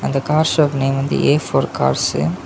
இந்த car shop name வந்து a for cars .